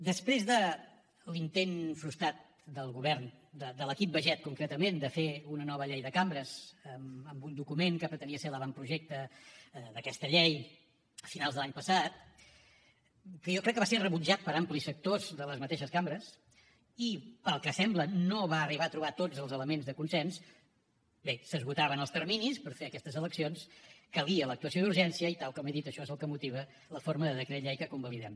després de l’intent frustrat del govern de l’equip baiget concretament de fer una nova llei de cambres amb un document que pretenia ser l’avantprojecte d’aquesta llei a finals de l’any passat que jo crec que va ser rebutjat per amplis sectors de les mateixes cambres i pel que sembla no va arribar a trobar tots els elements de consens bé s’esgotaven els terminis per fer aquestes eleccions calia l’actuació d’urgència i tal com he dit això és el que motiva la forma de decret llei que convalidem